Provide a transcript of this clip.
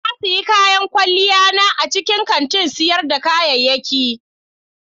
Na sayi kayan kwalliya na a cikin kantin sayar da kayayyaki.